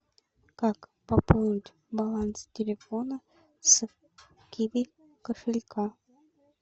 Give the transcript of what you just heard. как пополнить баланс телефона с киви кошелька